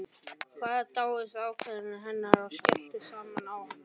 Hann dáðist að ákveðni hennar en skellti samt á hana.